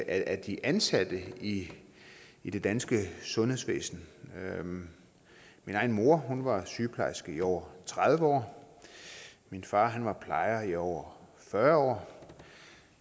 af de ansatte i i det danske sundhedsvæsen min egen mor var sygeplejerske i over tredive år min far var plejer i over fyrre år